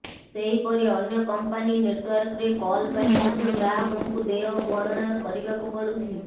ସେହିପରି ଅନ୍ୟ କମ୍ପାନୀ ନେଟ୍ୱର୍କରେ କଲ ପାଇଁ ମଧ୍ୟ ଗ୍ରାହକଙ୍କୁ ଦେୟ ଭରଣା କରିବାକୁ ପଡୁଛି